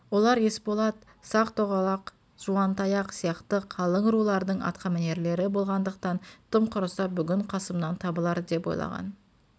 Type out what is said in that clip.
олар есболат сақ-тоғалақ жуантаяқ сияқты қалың рулардың атқамінерлері болғандықтан тым құрыса бүгін қасымнан табылар деп ойлаған